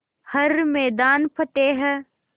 हर मैदान फ़तेह